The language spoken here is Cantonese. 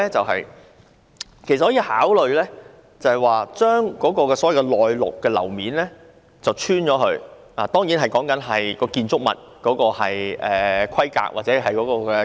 可以考慮將"內陸"樓面鑿穿，當然前提是該建築物的規格和結構容許這樣做。